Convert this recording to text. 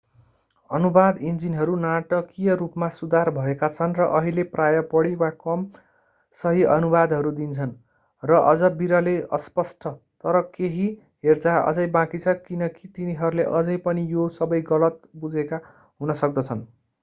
अनुवाद इन्जिनहरू नाटकीय रूपमा सुधार भएका छन् र अहिले प्रायः बढी वा कम सही अनुवादहरू दिन्छन् र अझ विरलै अस्पष्ट तर केही हेरचाह अझै बाँकी छ किनकी तिनीहरूले अझै पनि यो सबै गलत बुझेका हुन सक्दछन्।